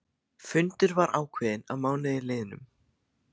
Fundur var ákveðinn að mánuði liðnum.